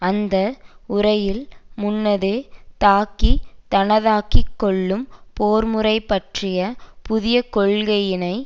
அந்த உரையில் முன்னதே தாக்கி தனதாக்கி கொள்ளும் போர்முறை பற்றிய புதிய கொள்கையினை